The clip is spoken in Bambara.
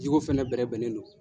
Jiko fɛnɛ bɛrɛ bɛnnen do.